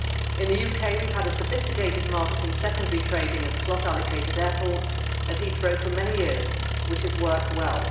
In the UK we have had a sophisticated market in secondary trading of slot allocated airports at Heathrow for many years, which has worked well.